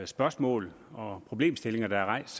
spørgsmål og problemstillinger der er rejst